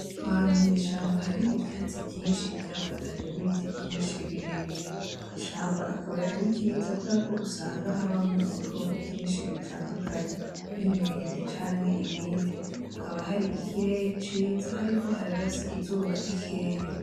Ahantu mw,ishamba hari ivyatsi vyinshi vyafatanye nibiti vyinshi birebire ishamba akaba ari ryiza kuko usanga habamwo ibikoko vyinshi bitandukanye nk,inkende canke nibindi hakaba hari ikirere ciza hariko hararasa izuba rikeya.